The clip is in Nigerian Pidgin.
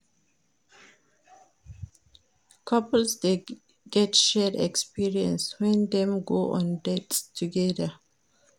Couples dey get shared experience when dem go on dates together